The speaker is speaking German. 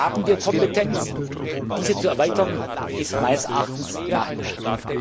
Dort haben wir Kompetenzen diese zu erweitern ist meines Erachtens naheliegend.